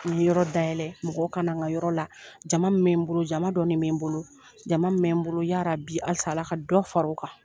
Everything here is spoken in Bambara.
N ye yɔrɔ dayɛlɛ, mɔgɔ kana n ka yɔrɔ la. Jama min bɛ n bolo, jama dɔɔni bɛ n bolo. Jama min bɛ n bolo ya Rabi halisa Ala ka dɔ fara o kan.